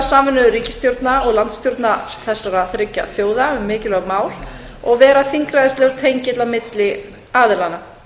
samvinnu ríkisstjórna og landsstjórna þessara þriggja þjóða um mikilvæg mál og vera þingræðislegur tengill á milli aðilanna